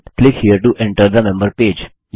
member page में enter के लिए यहाँ क्लिक करें